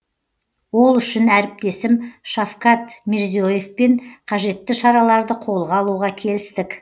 ол үшін әріптесім шавкат мирзие евпен қажетті шараларды қолға алуға келістік